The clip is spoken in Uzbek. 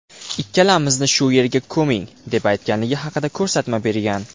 Ikkalamizni shu yerga ko‘ming”, deb aytganligi haqida ko‘rsatma bergan.